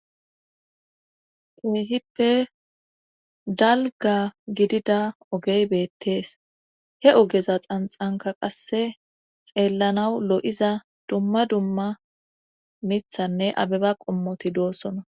kehippe dalga gidida ogey bettees he ogeza xanxanka qase xeellanaw lo7iza duma duma mithanne abeba qommoti de'ossona